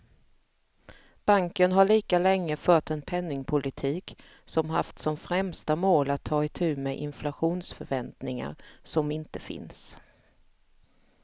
Banken har lika länge fört en penningpolitik som haft som främsta mål att ta itu med inflationsförväntningar som inte finns.